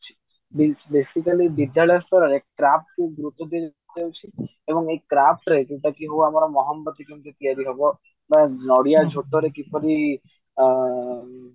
basically ବିଦ୍ୟାଳୟ ସ୍ତରରେ craft କୁ ବେଶି ଗୁରୁତ୍ୟ ଦିଆଯାଉଛି ଏବଂ ଏଇ craft ରେ ଯୋଉଟା କି ଆମର ମହମବତୀ କେମିତି କେମିତି ତିଆରି ହବ ବା ନଡିଆ ଝୋଟରେ କିପରି ଆଁ